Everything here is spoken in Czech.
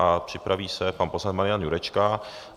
A připraví se pan poslanec Marian Jurečka.